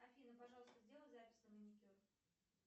афина пожалуйста сделай запись на маникюр